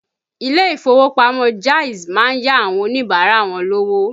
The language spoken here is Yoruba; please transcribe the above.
Ilé ìfowópamọ́ Jaiz má ń yá àwọn Oníbàárà wọn lówó